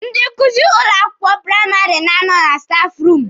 Ndị nkuzi ụlọ akwụkwọ praịmarị na-anọ na stafụ ruumụ.